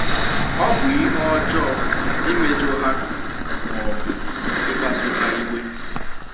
Ọ bụ ihe ọjọọ imejọ ha ma ọ bụ ịkpasu ha iwe.